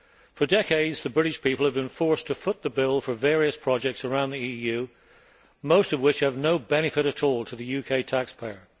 For decades, the British people have been forced to foot the bill for various projects around the EU, most of which are of no benefit at all to the UK taxpayer.